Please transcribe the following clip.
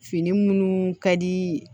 Fini minnu ka di